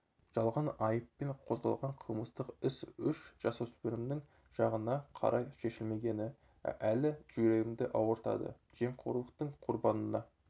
жалған айыппен қозғалған қылмыстық іс үш жасөспірімнің жағына қарай шешілмегені әлі жүрегімді ауыртады жемқорлықтың құрбанына